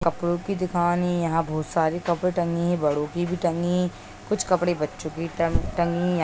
कपड़ों की दुकान ही है यहाँ बहुत सारी कपड़े भी टंगी है बड़ों की भी टंगी कुछ कपड़े बच्चों की भी टांग-टंगी है|